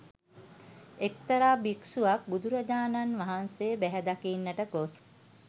එක්තරා භික්ෂුවක් බුදුරජාණන් වහන්සේ බැහැදකින්නට ගොස්